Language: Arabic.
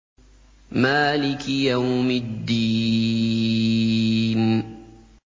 مَالِكِ يَوْمِ الدِّينِ